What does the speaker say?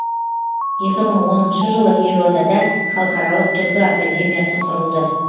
екі мың оныншы жылы елордада халықаралық түркі академиясы құрылды